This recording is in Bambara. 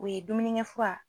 O ye dumunikɛ fura